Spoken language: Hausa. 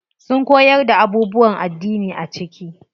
Sun koyar da abubuwan addini a ciki.